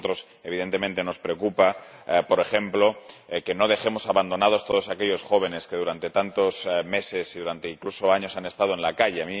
A nosotros, evidentemente, nos preocupa, por ejemplo, que no dejemos abandonados a todos aquellos jóvenes que durante tantos meses y durante incluso años han estado en la calle.